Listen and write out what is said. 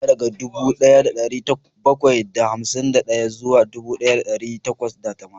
Ina kirga daga dubu daya da dari bakwai da hamsin da daya zuwa dubu daya da dari takwas da tamanin